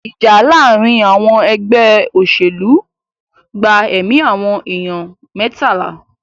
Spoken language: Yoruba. Ìjà láàárín àwọn ẹgbẹ́ òṣèlú gba ẹ̀mí àwọn ènìyàn mẹ́tàlá.